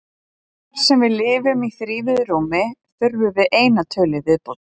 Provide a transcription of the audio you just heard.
Þar sem við lifum í þrívíðu rúmi þurfum við eina tölu í viðbót.